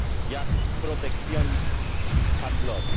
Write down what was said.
jak protekcjonizmem handlowym.